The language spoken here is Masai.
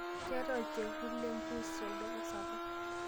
keetae olchekut lempuus tolduka sapuk